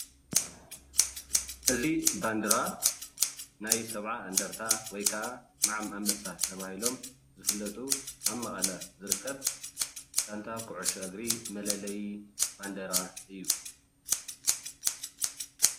እዚ ባንዴራ ናይ ሰብዓ እንደርታ ወይ ከዓ ሞዓም ኣንበሳ ተባሂሎም ዝፍለጡ ኣብ መቀለ ዝርከብ ጋንታ ኩዕሽ እግሪ መለለዩ ባንዴራ እዩ።